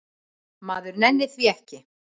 Maður nennir því ekki